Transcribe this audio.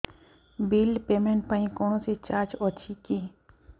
bill payment ପାଇଁ କୌଣସି charge ଅଛି କି